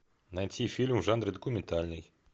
найти фильм в жанре документальный